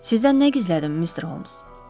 Sizdən nə gizlədim, Mister Holms?